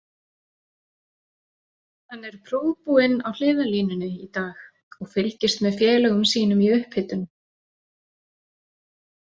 Hann er prúðbúinn á hliðarlínunni í dag og fylgist með félögum sínum í upphitun.